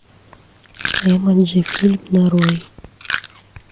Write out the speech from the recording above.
эмоджи фильм нарой